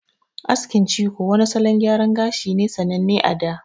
Askin ciko wani salon gyara gashi ne sananne a da.